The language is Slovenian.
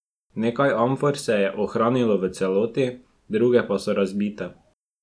Nekaj amfor se je ohranilo v celoti, druge pa so razbite.